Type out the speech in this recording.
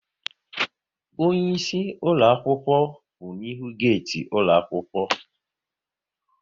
Onyeisi ụlọakwụkwọ kwụ n'ihu geeti ụlọaɑkwụkwọ